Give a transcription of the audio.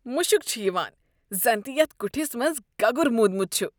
مُشُک چھُ یوان زن تہِ یتھ كُٹھِس منٛز گگُر موٗدمُت چھُ۔